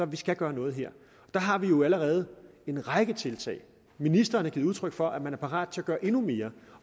vi skal gøre noget her der har vi jo allerede en række tiltag ministeren har givet udtryk for at man er parat til at gøre endnu mere